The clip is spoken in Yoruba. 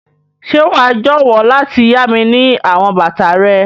Ṣe wa jọwọ lati ya mi ni àwọn bàtà rẹ?